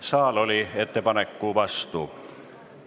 Saal oli ettepaneku vastu.